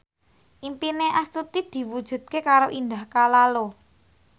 impine Astuti diwujudke karo Indah Kalalo